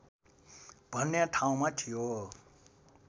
भन्ने ठाउँमा थियो